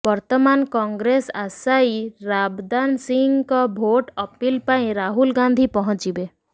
ବର୍ତ୍ତମାନ କଂଗ୍ରେସ ଆଶାୟୀ ରାବ ଦାନ ସିଂହଙ୍କ ଭୋଟ ଅପିଲ୍ ପାଇଁ ରାହୁଲ୍ ଗାନ୍ଧୀ ପହଞ୍ଚିବେ